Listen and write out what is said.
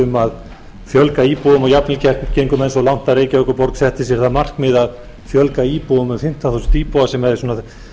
um að fjölga íbúðum og jafnvel gengu menn svo langt að reykjavíkurborg setti sér það markmið að fjölga íbúum um fimmtán þúsund íbúa sem jafngilti að